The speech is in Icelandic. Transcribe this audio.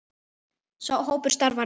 Sá hópur starfar enn.